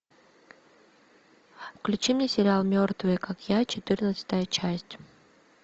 включи мне сериал мертвые как я четырнадцатая часть